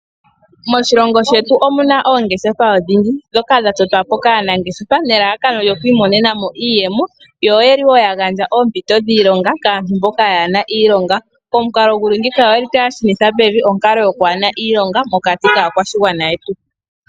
Moshilongo shetu omuna oongeshefa odhindji dhoka dha totwapo kaanangeshefa nelalakano lyo okwimonena mo iiyemo yo oyeli wo yagandja oompito dhiilonga kaantu mboka kayena iilonga , omukalo nguli ngiika oguli tagu shunitha pevi onkalo yoo kwaana iilonga mokati kaakwashigwana yetu.